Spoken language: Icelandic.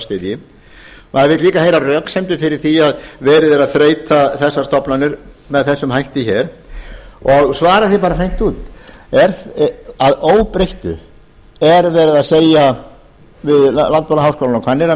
styðji maður vill líka heyra röksemdir fyrir því að verið er að þreyta þessar stofnanir með þessum hætti hér og svari því bara hreint út er að óbreyttu verið að segja landbúnaðarháskólanum á hvanneyri að